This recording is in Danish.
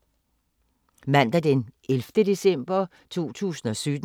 Mandag d. 11. december 2017